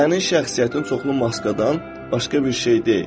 Sənin şəxsiyyətin çoxlu maskadan başqa bir şey deyil.